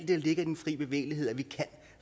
der ligger i den fri bevægelighed at vi kan